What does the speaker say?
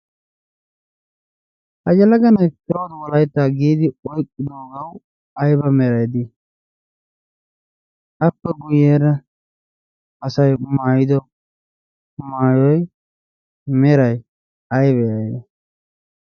ha yelaga nai prawud wolaittaa giidi oiqqidoogau aiba merai dii? appe guyyeera asai maayido maayoi merai aiba aibe?